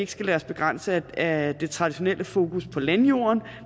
skal lade os begrænse af det traditionelle fokus på landjorden